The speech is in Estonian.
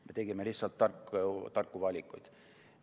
Me tegime lihtsalt tarku valikuid.